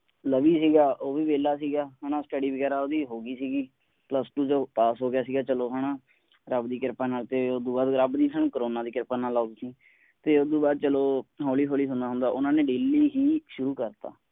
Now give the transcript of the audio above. ਲਵੀ ਸੀਗਾ ਉਹ ਵੀ ਵੈਲਾ ਸੀਗਾ ਹੈ ਨਾ study ਵਗੈਰਾ ਓਹਦੀ ਹੋ ਗਈ ਸੀਗੀ plus two ਚੋਂ ਉਹ PASS ਹੋ ਗਿਆ ਸੀਗਾ ਚਲੋ ਹੈ ਨਾ ਰੱਬ ਦੀ ਕਿਰਪਾ ਨਾਲ ਤੇ ਉਸਤੋਂ ਬਾਅਦ ਰੱਬ ਵੀ ਹੁਣ ਕਰੋਨਾ ਦੀ ਕਿਰਪਾ ਨਾਲ ਤੇ ਉਸਤੋਂ ਬਾਅਦ ਚਲੋ ਹੋਲੀ ਹੋਲੀ ਹੁੰਦਾ ਹੁੰਦਾ ਉਨ੍ਹਾਂ ਨੇ daily ਹੀ ਸ਼ੁਰੂ ਕਰ ਦਿੱਤਾ।